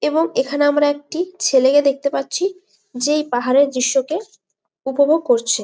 এবং এইখানে আমরা একটি ছেলেকে দেখতে পারছি যেই পাহাড়ের দৃশ্যকে উপভোগ করছে।